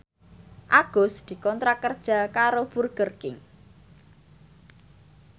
Agus dikontrak kerja karo Burger King